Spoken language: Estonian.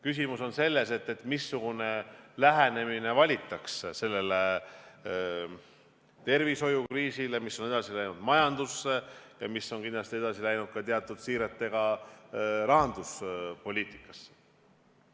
Küsimus on selles, missugune lähenemine valitakse sellele tervishoiukriisile, mis on edasi läinud majandusse ja mis on kindlasti teatud siiretega edasi läinud ka rahanduspoliitikasse.